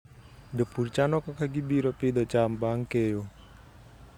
Jopur chano kaka gibiro pidho cham bang' keyo.